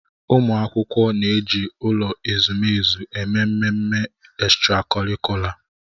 Ụmụ akwụkwọ na-eji ụlọ ezumezu eme mmemme ekstrakọrịkula